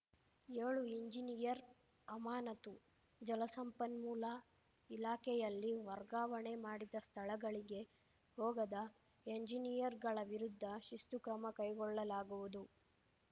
ಏಳು ಇಂಜಿನಿಯರ್‌ ಅಮಾನತು ಜಲಸಂಪನ್ಮೂಲ ಇಲಾಖೆಯಲ್ಲಿ ವರ್ಗಾವಣೆ ಮಾಡಿದ ಸ್ಥಳಗಳಿಗೆ ಹೋಗದ ಎಂಜಿನಿಯರ್‌ಗಳ ವಿರುದ್ಧ ಶಿಸ್ತು ಕ್ರಮ ಕೈಗೊಳ್ಳಲಾಗುವುದು